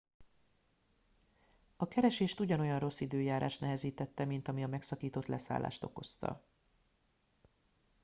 a keresést ugyanolyan rossz időjárás nehezítette mint ami a megszakított leszállást okozta